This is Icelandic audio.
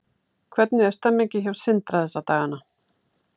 Hvernig er stemmningin hjá Sindra þessa dagana?